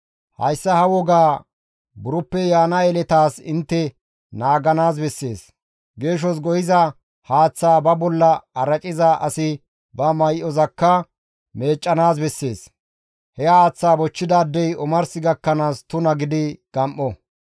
Hayssa ha wogaa buroppe yaana yeletaas intte naaganaas bessees; geeshos go7iza haaththaa ba bolla araciza asi ba may7ozakka meeccanaas bessees; he haaththaa bochchidaadey omars gakkanaas tuna gidi gam7o.